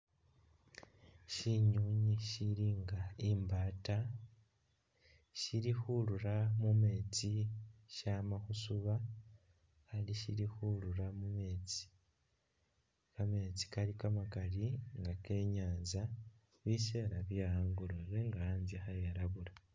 Syinywinywi sili nga imbaata sili khurura mu meetsi syama khusuba ali sili khurura mu meetsi. Kameetsi kali kamakali nga ke i'nyaanza, biseela bye angolobe nga anzye kha elabula.